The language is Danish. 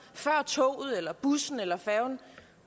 før toget eller bussen eller færgen